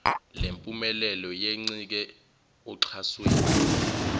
lempumelelo yencike oxhasweni